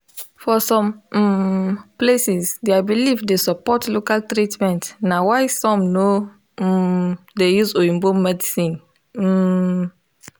for some um places their belief dey support local treatment na why some no um dey use oyibo medicine um